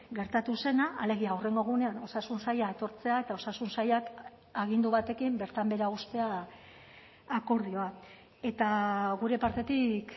gertatu zena alegia hurrengo egunean osasun saila etortzea eta osasun sailak agindu batekin bertan behera uztea akordioak eta gure partetik